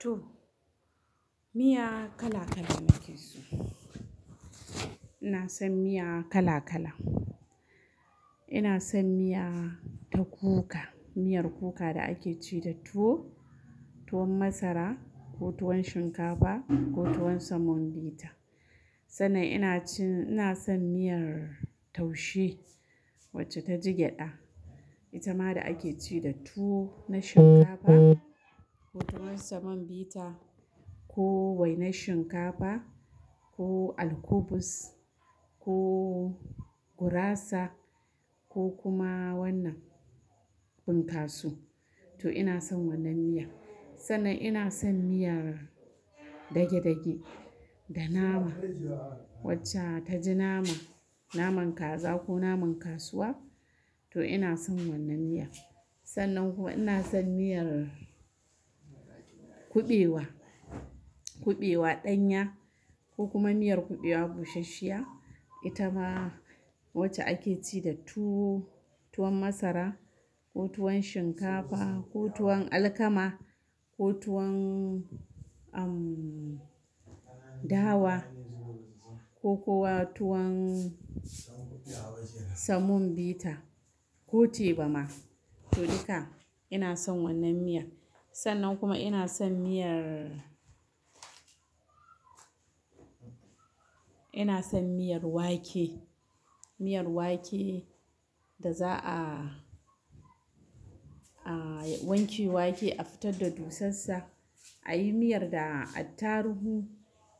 To, miya kala kala nake so. Ina son miya kala kala. Ina son miya ta kuka, miyar kuka da ake ci da tuwo, tuwon masara ko tuwon shinkafa ko tuwon samon bita. Sannan ina cin-- ina son miyar taushe wacce ta ji gyada. Ita ma da ake ci da tuwo na shinkafa ko tuwon samon bita ko wainar shinkafa ko alkubus ko gurasa ko kuma wannan bunkasu. To ina son wannan miya. Sannan ina son miyar dage dage da nama wacca ta ji nama, naman kaza ko naman kasuwa. To ina son wannan miya. Sannan kuma ina son miyar kuɓewa, kuɓewa ɗanya ko kuma miyar kuɓewa bushashshiya. Ita ma wacce ake ci da tuwo, tuwon masara ko tuwon shinkafa ko tuwon alkama ko tuwon, um, dawa ko kuwa tuwon samon bita ko tebama. To duka ina son wannan miya. Sannan kuma ina son miyar-- ina son miyar wake, miyar wake da za'a, a wanke wake, a fitar da dusassa, a yi miyar da attaruhu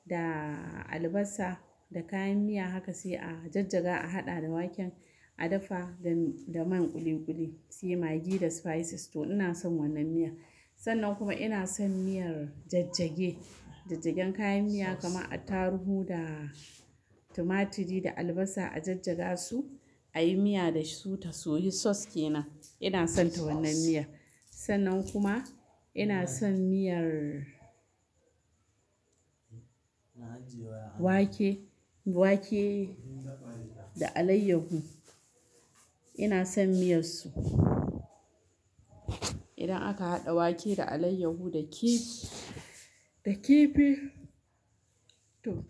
da albasa da kayan miya haka sai a jajjaga, a haɗa da waken, a dafa da, da man kuli-kuli sai magi da spices. To ina son wannan miya. Sannan kuma ina son miyar jajjage, jajjagen kayan miya kamar attaruhu da tumatiri da albasa a jajjaga su, a yi miya da su ta soyi sauce kenan. Ina son ta wannan miyan. Sannan kuma ina son miyar wake, wake da alayyahu. Ina son miyar su. Idan aka haɗa wake da alayyaho da kifi, da kifi to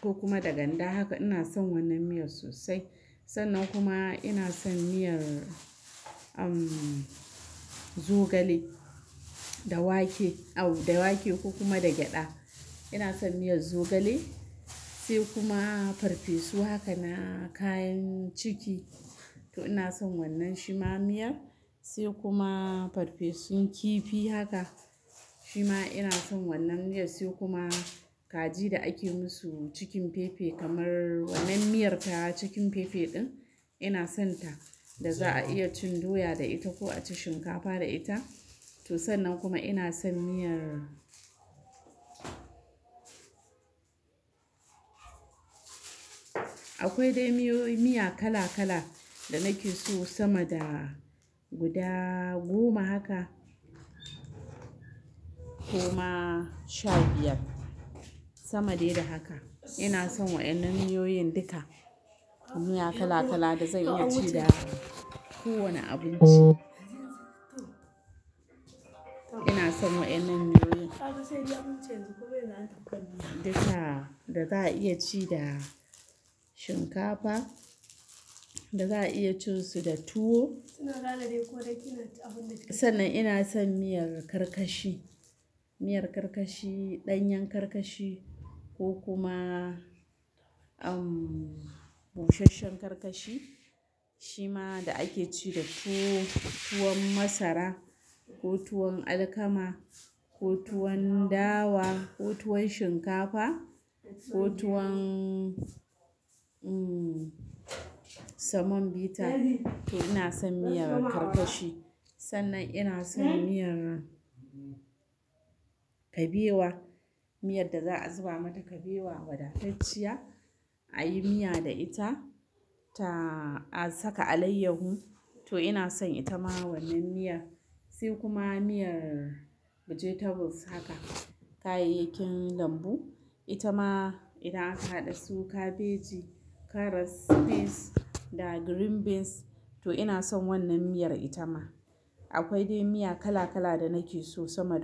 ko kuma da ganda haka ina son wannan miyar sosai. Sannan kuma ina son miyar, um, zogale da wake, au, da wake ko kuma da gyada. Ina son miyar zogale sai kuma farfesu haka na kayan ciki. To ina son wannan shima miyar. Sai kuma farfesun kifi haka, shima ina son wannan miyar. Sai kuma kaji da ake musu chicken pepe kamar wannan miyar ta chicken pepe ɗin, ina son ta. Da za'a iya cin doya da ita ko a ci shinkafa da ita. To sannan kuma ina son miyar-- akwai dai miyoyi-- miya kala kala da nake so sama da guda goma haka ko ma sha biyar. Sama dai da haka. Ina son wayannan miyoyin duka. Miya kala kala da zan iya ci da kowane abinci. Ina son wayannan miyoyin duka da za'a iya ci da shinkafa, da za'a iya cin su da tuwo. Sannan ina son miyar karkashi, miyar karkashi, ɗanyen karkashi ko kuma, um, bushashshen karkashi. Shima da ake ci da tuwo, tuwon masara ko tuwon alkama ko tuwon dawa ko tuwon shinkafa ko tuwon, um, samon bita. To ina son miyar karkashi. Sannan ina son miyar kabewa, miyar da za'a zuba mata kabewa wadatacciya, a yi miya da ita ta-- a saka alayyahu. To ina son ita ma wannan miya. Sai kuma miyar vegetables haka, kayayyakin lambu. Ita ma idan aka haɗe su, kabeji, karas, peas da green beans. To ina son wannan miyar ita ma. Akwai dai miya kala kala da nake so sama.